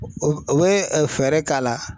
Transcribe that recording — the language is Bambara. U bɛ u bɛ fɛɛrɛ k'a la.